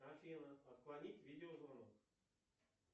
афина отклонить видеозвонок